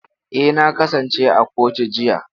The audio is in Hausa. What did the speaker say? Eh, na kasance a kotu jiya.